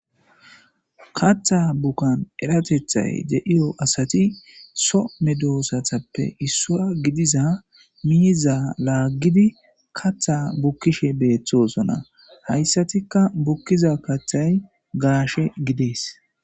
katha bukkan eratethay de7iyo asati so me doosatappe issua gidiza miiza laaggidi katha bukkishe beeththosona hayssatikka bukkiza kathay gaashe gidees